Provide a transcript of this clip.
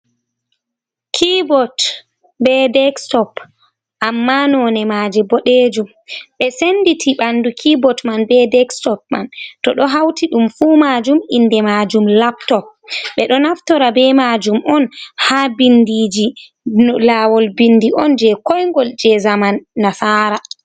Kybot be dekstop amma none maje boɗejum, ɓe senditi ɓandu kybot man be dekstop man to ɗo hauti ɗum fu majum inde majum laptop, ɓeɗo naftora be majum on ha bindiji lawol bindi on je koigol je zaman nasara.